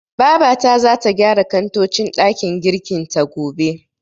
Babata zata gyara kantocin ɗakin girkin ta, gobe.